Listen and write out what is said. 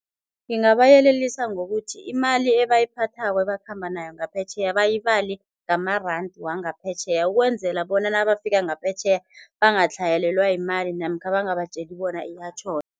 Ngingabayelelisa ngokuthi imali ebayiphathako ebakhamba nayo ngaphetjheya bayibale ngama-rand wangaphetjheya, ukwenzela bona nabafika ngaphetjheya bangahlayelelwa yimali namkha bangabatjeli bona iyatjhoda.